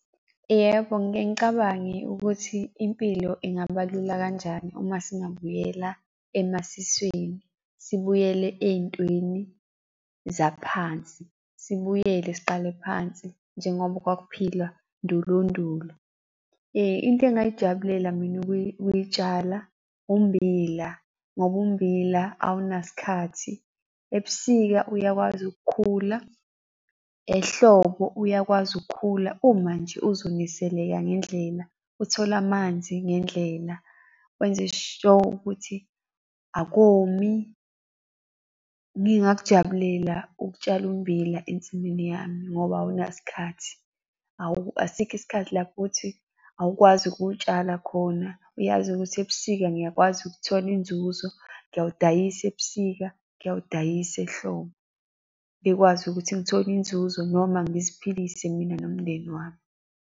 Yebo, ngike ngicabange ukuthi impilo ingaba lula kanjani uma singabuyela emasisweni, sibuyele ey'ntweni zaphansi, sibuyele siqale phansi njengoba kwakuphilwa ndulondulo. Into engingayijabulela mina ukuyitshala ummbila, ngoba ummbila awunaso isikhathi. Ebusika uyakwazi ukukhula, ehlobo uyakwazi ukukhula uma nje uzoniseleka ngendlela, uthole amanzi ngendlela, wenze sho ukuthi akomi. Ngingakujabulela ukutshala ummbila ensimini yami ngoba awunaso isikhathi. . Asikho isikhathi lapho ukuthi awukwazi ukutshala khona, uyazi ukuthi ebusika ngiyakwazi ukuthola inzuzo, ngiyawudayisa ebusika, ngiyawudayisa ehlobo, ngikwazi ukuthi ngithole inzuzo noma ngiziphilise mina nomndeni wami.